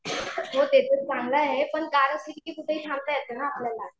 हो ते तर चांगलं आहे पण कारने कुठेही थांबता येते ना आपल्याला.